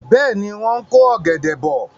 Bẹ́ẹ̀ni, wọ́n ń ko ọ̀gẹ̀dẹ̀ bọ̀.